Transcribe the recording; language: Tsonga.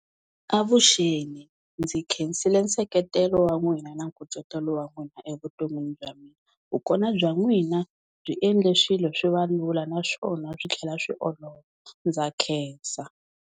Avuxeni ndzi khensile nseketelo wa n'wina na nkucetelo wa n'wina evuton'wini bya mina vukona bya n'wina byi endle swilo swi va lula naswona swi tlhela swi olova ndza khensa.